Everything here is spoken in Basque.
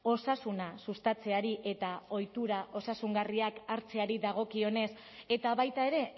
osasuna sustatzeari eta ohitura osasungarriak hartzeari dagokionez eta baita ere